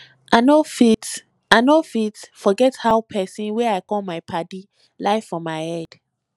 i no fit i no fit forget how pesin wey i call my paddy lie for my head